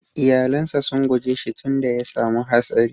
Iƴalan sa sun guje shi tun da ya samu hatsari.